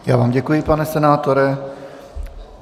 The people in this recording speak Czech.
Já vám děkuji, pane senátore.